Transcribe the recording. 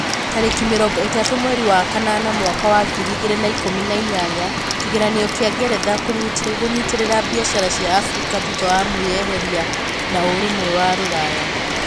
Tarĩki mĩrongo itatũ mweri wa kanana mwaka wa ngiri igĩrĩ na ikũmi na inyanya kĩgeranio kĩa ngeretha kũnyitĩrĩra biacara cia afrika thutha wa mwĩyeheria na ũrũmwe wa rũraya